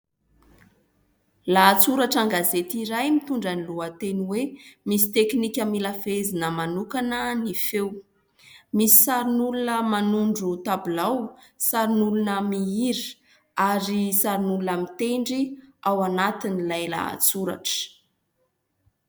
Lahatsoratra an-gazety iray mitondra ny lohateny hoe misy tekinika mila fehezina manokana ny feo, misy sarin'olona manondro tabilao sarin'olona mihira ary sarin'olona mitendry ao anatiny ilay lahatsoratra.